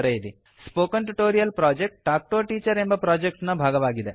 spoken tutorial project talk to a teacher ಎಂಬ project ನ ಭಾಗವಾಗಿದೆ